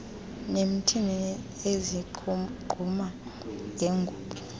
nimthini ezigquma ngengubo